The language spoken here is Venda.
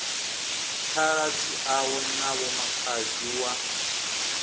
khaladzi awe na vhomakhadzi wa